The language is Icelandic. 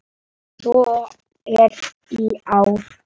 Svo er í ár.